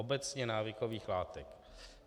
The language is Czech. Obecně návykových látek.